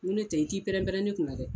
Ŋo ne tɛ i t'i pɛrɛnpɛrɛn ne kun na dɛ